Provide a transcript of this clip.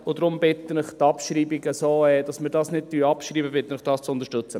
Deshalb bitte ich Sie, den Vorstoss nicht abzuschreiben.